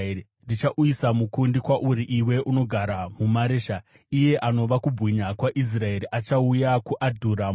Ndichauyisa mukundi kwauri iwe unogara muMaresha. Iye anova kubwinya kwaIsraeri achauya kuAdhuramu.